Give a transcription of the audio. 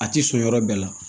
A ti sɔn yɔrɔ bɛɛ la